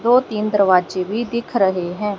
दो तीन दरवाजे भी दिख रहे हैं।